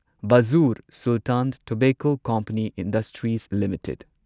ꯚꯥꯓꯨꯔ Sultan tobacco company industries limited